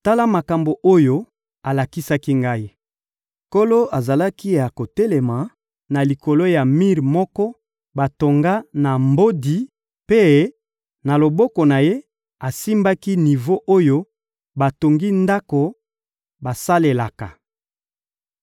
Tala makambo oyo alakisaki ngai: Nkolo azalaki ya kotelema na likolo ya mir moko batonga na mbodi mpe, na loboko na Ye, asimbaki nivo oyo batongi ndako basalelaka.